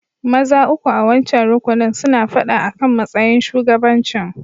Maza uku a'wancan rukunin suna fada akan matsayin shugabancin.